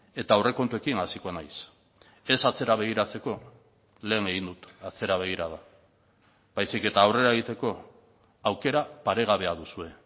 eta aurrekontuekin hasiko naiz ez atzera begiratzeko lehen egin dut atzera begirada baizik eta aurrera egiteko aukera paregabea duzue